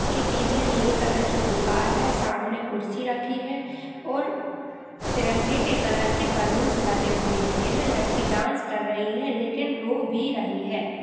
उसके पीछे नीले कलर की दिवार है सामने कुर्सी रखी है और तिरंगे के कलर की बलुन्स लगे हुए हैं। यह लड़की डांस कर रही है लेकिन रो भी रही है।